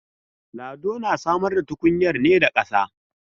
Lado na samar da tukunyar ne da kasa.